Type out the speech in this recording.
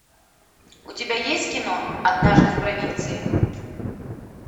у тебя есть кино однажды в провинции